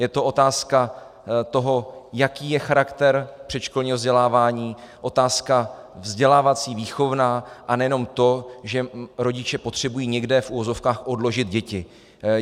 Je to otázka toho, jaký je charakter předškolního vzdělávání, otázka vzdělávací, výchovná, a nejenom to, že rodiče potřebují někde, v uvozovkách, odložit děti.